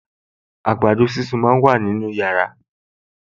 Àgbàdo sísun náà wà nínú yàrá